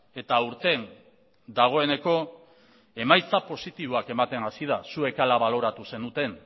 eta aurten dagoeneko emaitza positiboak ematen hasi da zuek hala baloratu zenuten